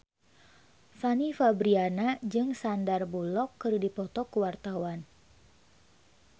Fanny Fabriana jeung Sandar Bullock keur dipoto ku wartawan